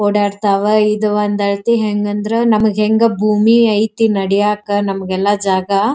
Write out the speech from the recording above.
ಓಡಾಡ್ತವೆ ಇದ್ ಒಂದಾಯ್ತಿ ಹೆಂಗ್ ಅಂದ್ರ ನಮಗ್ ಹೆಂಗ ಭೂಮಿ ಅಯ್ತಿ ನಮಗೆಲ್ಲ ನದಿಯಕ ಎಲ್ಲ ಜಾಗ --